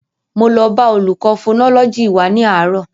Mo lọ bá olùkọ́ fonọ́lọ́jì wa ní àárò